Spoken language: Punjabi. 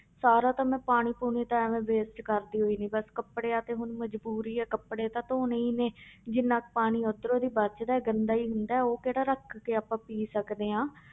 ਸਾਰਾ ਤਾਂ ਮੈਂ ਪਾਣੀ ਪੂਣੀ ਤਾਂ ਐਵੇਂ waste ਕਰਦੀ ਹੀ ਨੀ ਬਸ ਕੱਪੜਿਆਂ ਤੇ ਹੁਣ ਮਜ਼ਬੂਰੀ ਹੈ ਕੱਪੜੇ ਤਾਂ ਧੌਣੇ ਹੀ ਨੇ ਜਿੰਨਾ ਕੁ ਪਾਣੀ ਉੱਧਰੋਂ ਦੀ ਬਚਦਾ ਹੈ ਗੰਦਾ ਹੀ ਹੁੰਦਾ ਹੈ ਉਹ ਕਿਹੜਾ ਰੱਖ ਕੇ ਆਪਾਂ ਪੀ ਸਕਦੇ ਹਾਂ।